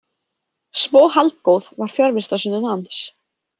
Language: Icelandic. Svo haldgóð var fjarvistarsönnun hans.